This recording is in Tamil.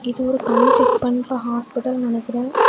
இது ஒரு கண் செக் பண்ற ஹாஸ்பிடல்னு நெனைக்கிறேன்.